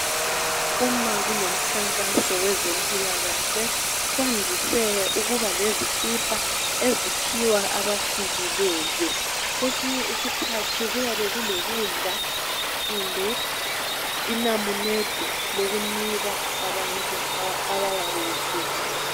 Uma kulomkhankaso wezempilakahle, kwandise ukuba kezikipa eziphiwa abafikileyo. Kwesinye isikhathi kuyabe kulokudla, kumbe inamunede lokunika abantu abayabe befikile.